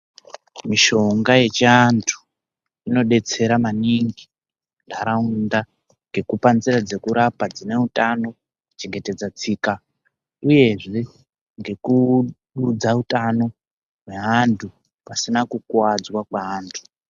Mishonga yechiantu inodetsera maningi ntaraunda ngekupa nzira dzekurapa dzine utano kuchengetedza tsika uyezve ngekududza utano neantu pasina kukuwadzwa kweantu.